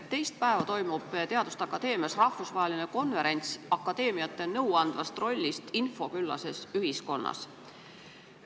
Teist päeva toimub teaduste akadeemias rahvusvaheline konverents, mille teema on akadeemiate nõuandev roll infoküllases ühiskonnas.